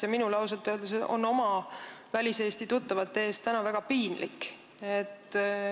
Ja minul ausalt öeldes on oma väliseesti tuttavate ees täna väga piinlik.